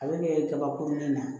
A bɛ ɲɛ kaba kurunin na